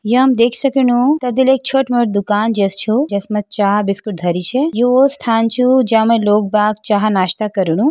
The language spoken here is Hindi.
यअमा देख सकनो त दिले एक छोट मोट दुकान जेस छो जेसमा चा बिस्कुट धरी छे यू वो स्थान छू जा में लोग बाग चाह नाश्ता करणु।